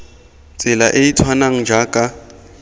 tsela e e tshwanang jaaka